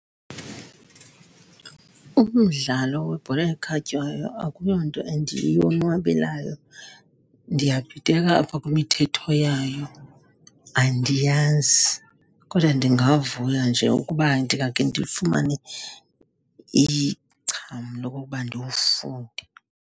Umdlalo webhola ekhatywayo akuyo nto endiyonwabelayo, ndiyabhideka kwimithetho yayo, andiyazi. Kodwa ndingavuya nje ukuba ndingakhe ndifumane icham lokokuba ndiwufunde.